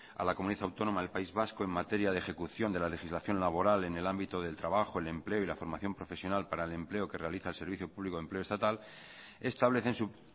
a la comunidad autónoma del país vasco en materia de ejecución de la legislación laboral en el ámbito del trabajo el empleo y la formación profesional para el empleo que realiza el servicio público de empleo estatal establece en su